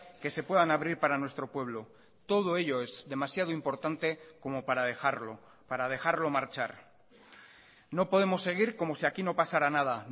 que se puedan abrir para nuestro pueblo todo ello es demasiado importante como para dejarlo para dejarlo marchar no podemos seguir como si aquí no pasara nada